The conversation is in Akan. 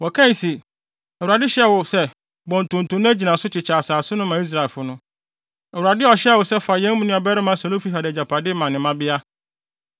Wɔkae se, “ Awurade hyɛɛ wo se bɔ ntonto na gyina so kyekyɛ asase no ma Israelfo no. Awurade ɔhyɛɛ wo se fa yɛn nuabarima Selofehad agyapade ma ne mmabea.